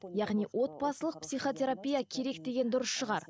яғни отбасылық психотерапия керек деген дұрыс шығар